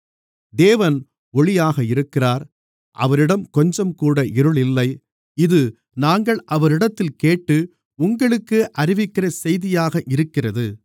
தேவன் ஒளியாக இருக்கிறார் அவரிடம் கொஞ்சம்கூட இருள் இல்லை இது நாங்கள் அவரிடத்தில் கேட்டு உங்களுக்கு அறிவிக்கிற செய்தியாக இருக்கிறது